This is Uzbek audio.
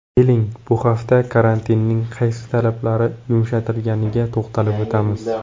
Keling, bu hafta karantinning qaysi talablari yumshatilganiga to‘xtalib o‘tamiz.